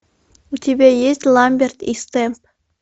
у тебя есть ламберт и стэмп